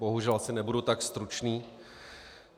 Bohužel asi nebudu tak stručný.